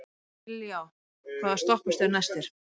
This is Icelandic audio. Dilja, hvaða stoppistöð er næst mér?